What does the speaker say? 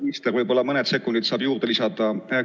Võib-olla saate mõned sekundid juurde lisada?